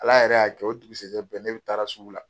Ala yɛrɛ y'a kɛ o dugusɛjɛ bɛɛ ne bɛ taara sugu la.